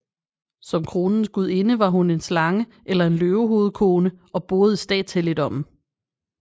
Som kronens gudinde var hun en slange eller en løvehovedkone og boede i statshelligdommen